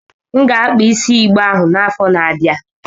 M ga-akpa isi igbe ahụ n'afọ na-abịa.